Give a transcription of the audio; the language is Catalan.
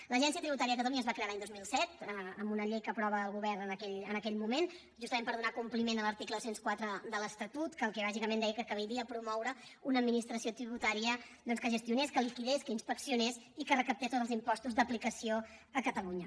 l’agència tributària de catalunya es va crear l’any dos mil set amb una llei que aprova el govern en aquell moment justament per donar compliment a l’article dos cents i quatre de l’estatut que bàsicament deia que caldria promoure una administració tributària que gestionés que liquidés que inspeccionés i que recaptés tots els impostos d’aplicació a catalunya